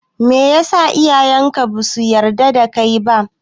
Meyasa iyayen ka basu yarda da kai ba?